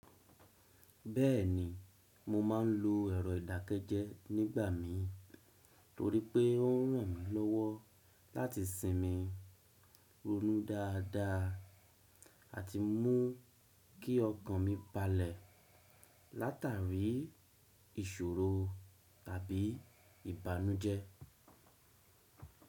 Bẹ́ẹ̀ni, mo ma ń lo ẹ̀rọ ìdákẹ́jẹ́ nígbà mi, torí pé ó ràn mí lọ́wọ́ láti sinmi ronú dáadáa àti mú kí ọkàn mi balẹ̀ látàrí ìṣòro tàbí ìbànújẹ́.